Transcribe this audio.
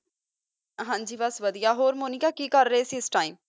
ਹਨ ਜੀ ਬਸ ਵਾਦੇਯਾ ਹੋਰ ਮੁਨਿਕਾ ਕੀ ਕਰ ਰਹੀ ਸੇ ਇਸ ਟੀਮੇ